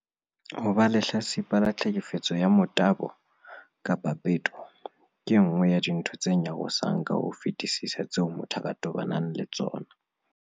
Ho ba lehlatsipa la tlheke fetso ya motabo kapa peto ke e nngwe ya dintho tse nyarosang ka ho fetisisa tseo motho a ka tobanang le tsona.